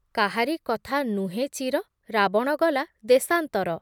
କାହାରି କଥା ନୁହେଁ ଚିର ରାବଣ ଗଲା ଦେଶାଂତର